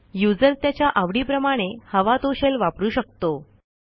user त्याच्या आवडीप्रमाणे हवा तो शेल वापरू शकतो